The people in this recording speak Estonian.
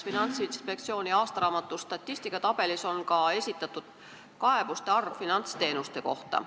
Finantsinspektsiooni aastaraamatu statistikatabelis on kirjas ka, kui palju on esitatud kaebusi finantsteenuste kohta.